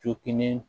Jokini